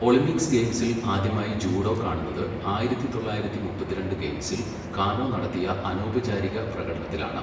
Olympic ഗെയിംസിൽ ആദ്യമായി judo കാണുന്നത് ആയിരത്തി തൊള്ളായിരത്തി മുപ്പത്തിരണ്ട് ഗെയിംസിൽ കാനോ നടത്തിയ അനൗപചാരിക പ്രകടനത്തിലാണ്.